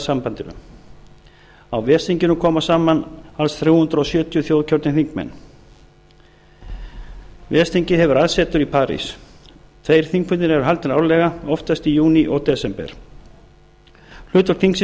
sambandinu á ves þinginu koma saman alls þrjú hundruð sjötíu þjóðkjörnir þingmenn ves þingið hefur aðsetur í parís tveir þingfundir eru haldnir árlega oftast í júní og desember hlutverk þingsins